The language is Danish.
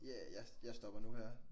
Ja. Ja jeg jeg stopper nu her